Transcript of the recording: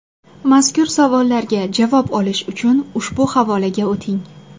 Mazkur savollarga javob olish uchun ushbu havolaga o‘ting.